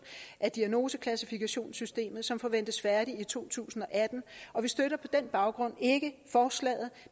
af diagnoseklassifikationssystemet som forventes færdigt i to tusind og atten og vi støtter på den baggrund ikke forslaget